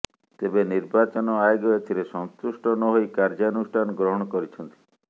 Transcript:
ତେବେ ନିର୍ବାଚନ ଆୟୋଗ ଏଥରେ ସନ୍ତୁଷ୍ଟ ନହୋଇ କାର୍ଯ୍ୟାନୁଷ୍ଠାନ ଗ୍ରହଣ କରିଛନ୍ତି